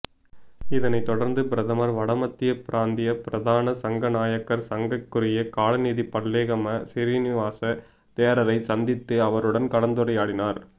இதனைத் தொடர்ந்து பிரதமர் வடமத்திய பிராந்திய பிரதான சங்கநாயக்கர் சங்கைக்குரிய கலாநிதி பல்லேகம சிறினிவாச தேரரை சந்தித்து அவருடன் கலந்துரையாடினார்